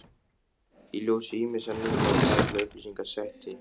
Í ljósi ýmissa nýrra og gamalla upplýsinga setti